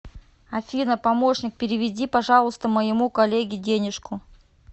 афина помощник переведи пожалуйста моему коллеге денежку